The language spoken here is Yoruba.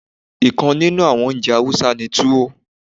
Nkan ninu àwon oúnjẹ Hausa ni Tuwo.